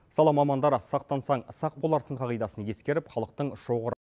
сала мамандары сақтансаң сақ боларсың қағидасын ескеріп халықтың шоғыр